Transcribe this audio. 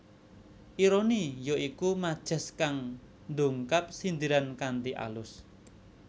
Ironi ya iku majas kang ndungkap sindiran kanthi alus